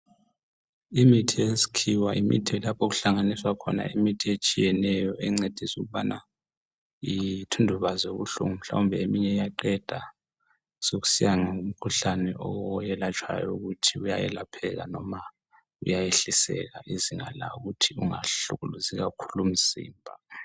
Imithi yesikhiwa imithi lapho okuhlanganiswa khona imithi etshiyenenyo engcedisa ukubana ithundubaze ubuhlungu mhlawumbe eminye iyaqeda sokusiya ngomkhuhlane oyelatshwayo ukuthi uyayelapheka noma uyayehliseka izinga lawo ukuthi ungahlukuluzi kakhulu umzimba.